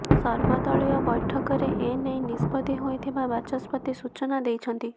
ସର୍ବଦଳୀୟ ବୈଠକରେ ଏନେଇ ନିଷ୍ପତ୍ତି ହୋଇଥିବା ବାଚସ୍ପତି ସୂଚନା ଦେଇଛନ୍ତି